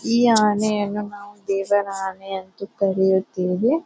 ಈ ಆನೆಯನ್ನು ನಾವು ದೇವರ ಆನೆ ಅಂತ ಕರೆಯುತ್ತೇವೆ.